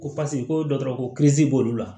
Ko paseke ko dɔ dɔrɔn ko b'olu la